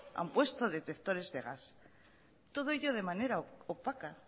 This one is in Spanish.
han puesto detectores de gas todo ello de manera opaca